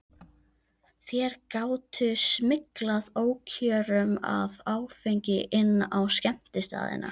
Þær gátu smyglað ókjörum af áfengi inn á skemmtistaðina.